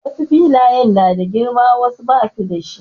Wasu filayen na da girma wasu kuma basu da shi.